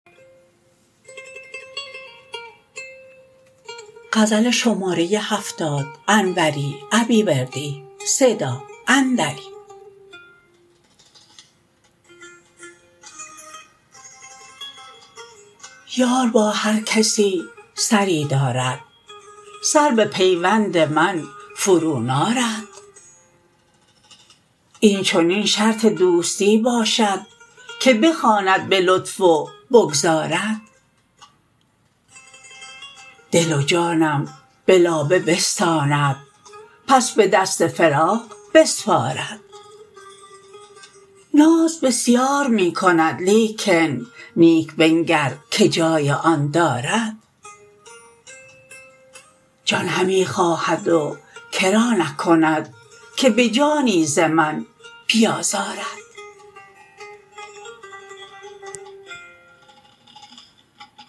یار با هرکسی سری دارد سر به پیوند من فرو نارد این چنین شرط دوستی باشد که بخواند به لطف و بگذارد دل و جانم به لابه بستاند پس به دست فراق بسپارد ناز بسیار می کند لیکن نیک بنگر که جای آن دارد جان همی خواهد و کرا نکند که به جانی ز من بیازارد